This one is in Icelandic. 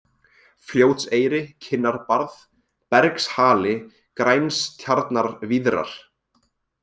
Fljótseyri, Kinnarbarð, Bergshali, Grænstjarnarvíðrar